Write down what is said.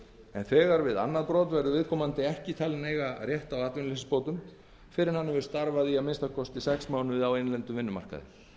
en þegar við annað brot verður viðkomandi ekki talinn eiga rétt á atvinnuleysisbótum fyrr en hann hefur starfað í að minnsta kosti sex mánuði á innlendum vinnumarkaði